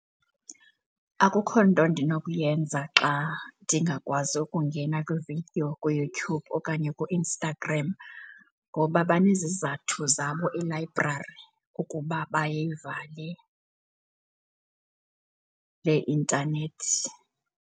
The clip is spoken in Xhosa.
Akukho nto ndinokuyenza xa ndingakwazi ukungena kwi-video kuYouTube okanye kuInstagram ngoba banezizathu zabo elayibrari ukuba bayivale le intanethi.